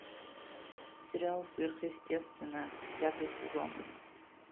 сериал сверхъестественное пятый сезон